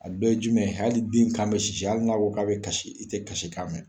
A dɔ ye jumɛn hali den kan bɛ sisi hali n'a ko k'a bɛ kasi i tɛ kasi kan mɛn.